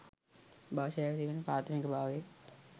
භාෂාවේ තිබෙන ප්‍රාථමික භාවය.